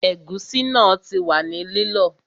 Ẹ̀gúsí náà ti wà ní lílọ